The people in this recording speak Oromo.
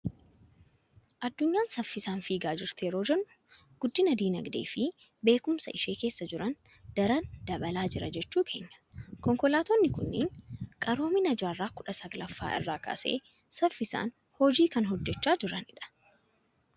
Addunyaan saffisaan fiigaa jirti yeroo jennu, guddinni dinagdee fi beekumsaa ishee keessa jiran daran dabalaa jira jechuu keenya. Konkolaatonni kunneen qaroomina jaarraa kudha salgaffaa irraa kaasee saffisaan hojii kan hojjechaa jiranidha.